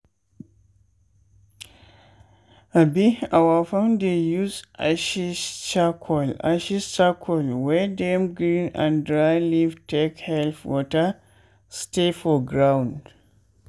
[ abi our farm dey use ashes charcoal ashes charcoal wey dem grind and dry leaf take help water stay for ground.